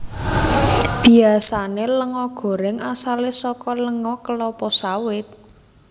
Biasane lenga gorèng asale saka lenga kelapa sawit